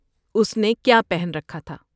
اس نے کیا پہن رکھا تھا؟